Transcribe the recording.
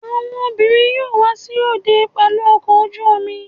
Àwọn obìnrin yóò wá sí òde pẹlú ọkọ ojú-omi